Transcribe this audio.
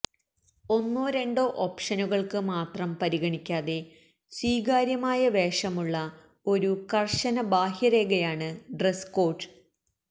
ഒന്നോ രണ്ടോ ഓപ്ഷനുകൾക്ക് മാത്രം പരിഗണിക്കാതെ സ്വീകാര്യമായ വേഷമുള്ള ഒരു കർശന ബാഹ്യരേഖയാണ് ഡ്രസ് കോഡ്